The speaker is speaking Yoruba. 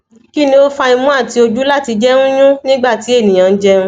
kini o fa imu ati oju lati jẹ nyún nigba ti eniyan njẹun